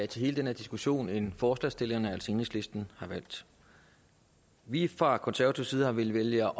til hele den her diskussion end forslagsstillerne altså enhedslisten har valgt vi fra konservativ side har villet vælge